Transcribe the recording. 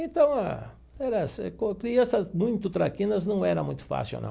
Então ah, era com crianças muito traquinas não era muito fácil, não.